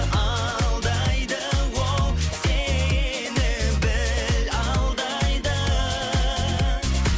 алдайды ол сені біл алдайды